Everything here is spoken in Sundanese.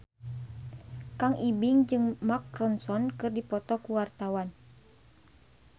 Kang Ibing jeung Mark Ronson keur dipoto ku wartawan